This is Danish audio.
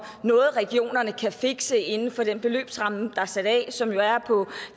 noget regionerne kan fikse inden for den beløbsramme der er sat af som jo er på